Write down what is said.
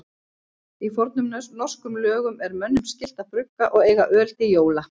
Í fornum norskum lögum er mönnum skylt að brugga og eiga öl til jóla.